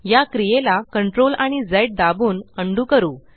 या क्रियेला CTRLआणि झ दाबून उंडो करू